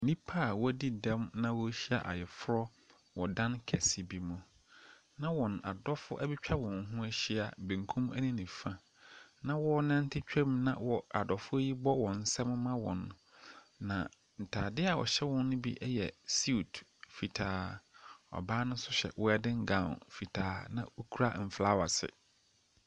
Nnipa a w'adi dɛm na wahyia wɔ ayeforɔ dan kɛse bi mu. Na wɔn adɔfo etwa wɔn ho ahyia, benkum ɛne nifa. Na wɔnante twam na adɔfo yi bɔ wɔn nsam ma wɔn. Na ntaade a ɛhyɛ wɔn no bi yɛ siut fitaa, ɔbaa no nso hyɛ wɛdin gawon fitaa na okura flawɛs.